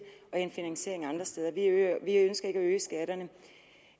vestas er en